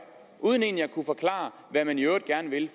uden egentlig at kunne forklare hvad man i øvrigt gerne vil